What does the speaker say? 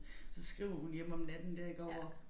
Så skriver hun hjem om natten der iggå hvor